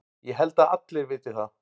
Ég held að allir viti það.